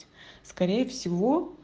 скорее всего